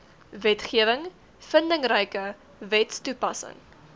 wetgewing vindingryke wetstoepassing